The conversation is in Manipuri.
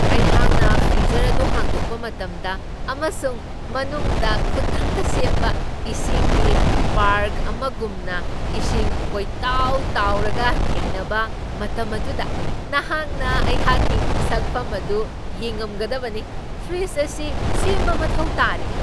ꯑꯩꯍꯥꯛꯅ ꯐ꯭ꯔꯤꯖꯔ ꯑꯗꯨ ꯍꯥꯡꯗꯣꯛꯄ ꯃꯇꯝꯗ ꯑꯃꯁꯨꯡ ꯃꯅꯨꯡꯗ ꯈꯨꯗꯛꯇ ꯁꯦꯝꯕ ꯏꯁꯤꯡꯒꯤ ꯄꯥ꯭ꯔꯛ ꯑꯃꯒꯨꯝꯅ ꯏꯁꯤꯡ ꯀꯣꯏꯇꯥꯎ ꯇꯥꯎꯔꯒ ꯊꯦꯡꯅꯕ ꯃꯇꯝ ꯑꯗꯨꯗ ꯅꯍꯥꯛꯅ ꯑꯩꯍꯥꯛꯀꯤ ꯁꯛꯐꯝ ꯑꯗꯨ ꯌꯦꯡꯉꯝꯒꯗꯕꯅꯤ꯫ ꯐ꯭ꯔꯤꯗꯖ ꯑꯁꯤ ꯁꯦꯝꯕ ꯃꯊꯧ ꯇꯥꯔꯦ꯫